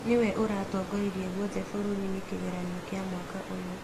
Nĩwe ũratongoririe guothe bũrũri-inĩ kĩgeranio kĩa mwaka ũyũ